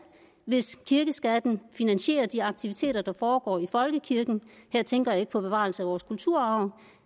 hvis kirkeskatten finansierer de aktiviteter der foregår i folkekirken og her tænker jeg ikke på bevarelse af vores kulturarv